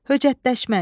Höcətləşmək.